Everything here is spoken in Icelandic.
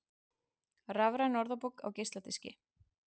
Rafræn orðabók á geisladiski